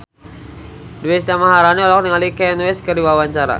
Deswita Maharani olohok ningali Kanye West keur diwawancara